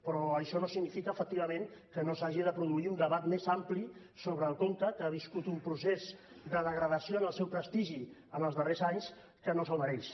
però això no significa efectivament que no s’hagi de produir un debat més ampli sobre el conca que ha viscut un procés de degradació del seu prestigi en els darrers anys que no se’l mereix